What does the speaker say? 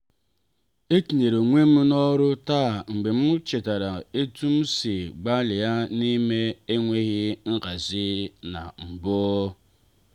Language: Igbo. etinyere onwem n'oru taa mgbe m chetara etu m si gbalịa n'ime enweghị nhazi na mbụ